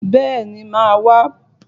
Bẹ́ẹ̀ni, màá wá.